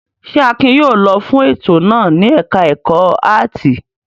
Ṣé Akin yóò lọ fún ètò náà ní ẹ̀ka-ẹ̀kọ́ áátì?